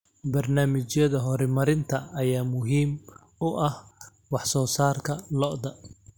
Barnaamijyada horumarinta ayaa muhiim u ah wax soo saarka lo'da.